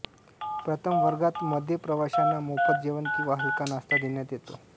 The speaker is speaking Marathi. प्रथमवर्गात मध्ये प्रवाशांना मोफत जेवण किंवा हलका नाश्ता देण्यात येतो